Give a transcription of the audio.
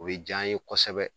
O bɛ ja an ye kosɛbɛ.